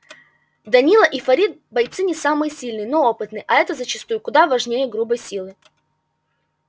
данила и фарид бойцы не самые сильные но опытные а это зачастую куда важнее грубой силы